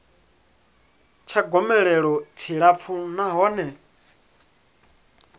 tsha gomelelo tshi tshilapfu nahone